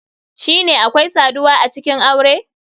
Shine akwai saduwa acikin aure?